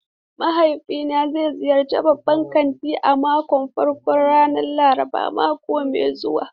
Mahaifina zai ziyarci babban kanti a karon farko ran Laraban mako mai zuwa.